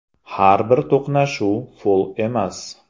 Har bir to‘qnashuv fol emas.